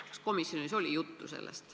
Aga kas komisjonis oli sellest juttu?